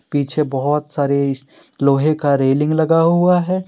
पीछे बहुत सारे लोहे का रेलिंग लगा हुआ है।